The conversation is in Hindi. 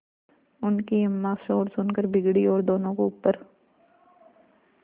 उनकी अम्मां शोर सुनकर बिगड़ी और दोनों को ऊपर